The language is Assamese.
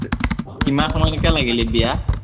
কিমান সময়লেকে লাগিলে বিয়া?